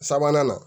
Sabanan na